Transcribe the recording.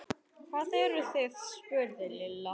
Hvar eruð þið? spurði Lilla.